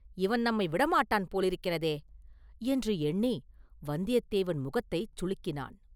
இவன் நம்மை விடமாட்டான் போலிருக்கிறதே!” என்று எண்ணி வந்தியத்தேவன் முகத்தைச் சுளுக்கினான்.